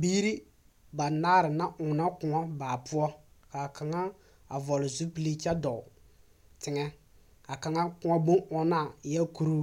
Biiri banaar na oonɔ kõɔ baa poɔ k'a kaŋa a vɔgele zupili kyɛ dɔɔ teŋɛ. K'a kaŋa kõɔ bon-ɔɔna eɛɛ kuruu,